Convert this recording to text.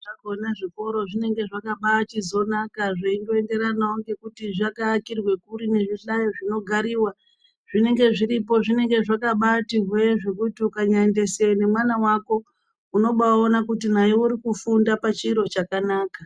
Zvakona zvikoro zvinenge zvakabachizonaka zvichingoenderana nekuti zvakaakirwe kuri nezvihlayo zvinogarirwa zvinenge zviripo zvinenge zvakabati hwee zvekuti ukanyabaendese mwana wako unobaona kuti naye urikufunda pachiro chakanaka .